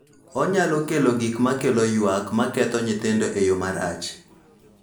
Onyalo kelo gik ma kelo ywak ma ketho nyithindo e yo marach.